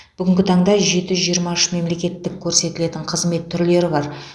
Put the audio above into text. бүгінгі таңда жеті жүз жиырма үш мемлекеттік көрсетілетін қызмет түрлері бар